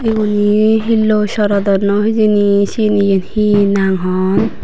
ubun hi hiloi sorodonnoi hijeni sieni yen hi nang hon.